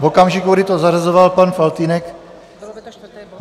V okamžiku, kdy to zařazoval pan Faltýnek...